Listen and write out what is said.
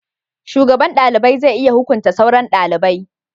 shugaban dalibai zai iya hukunta sauran dalibai